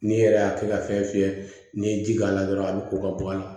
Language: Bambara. N'i yɛrɛ y'a kɛ ka fɛn fiyɛ n'i ye ji k'a la dɔrɔn a bɛ ko ka bɔ a la